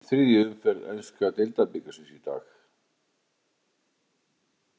Dregið var í þriðju umferð enska deildabikarsins í dag.